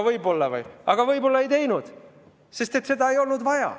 Aga ma ei teinud seda, sest seda ei olnud vaja.